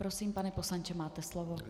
Prosím, pane poslanče, máte slovo.